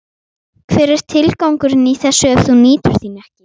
Hver er tilgangurinn í þessu ef þú nýtur þín ekki?